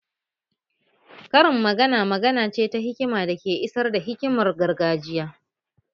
Karin magana magana ce ta hikima da ke isar da hikimar gargajiya